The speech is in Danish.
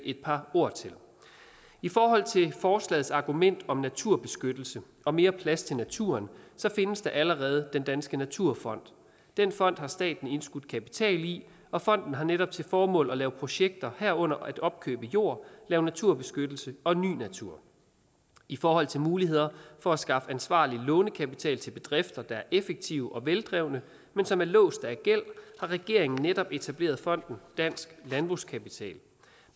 et par ord til i forhold til forslagets argument om naturbeskyttelse og mere plads til naturen findes der allerede den danske naturfond den fond har staten indskudt kapital i og fonden har netop til formål at lave projekter herunder at opkøbe jord lave naturbeskyttelse og ny natur i forhold til muligheder for at skaffe ansvarlig lånekapital til bedrifter der er effektive og veldrevne men som er låst af gæld har regeringen netop etableret fonden dansk landbrugskapital